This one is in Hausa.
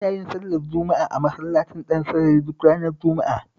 Ina sallar juma'a a Masallacin Dansarari duk ranar Juma'a